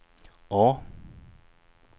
A